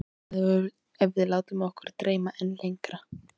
En hvað ef við látum okkar dreyma enn lengra?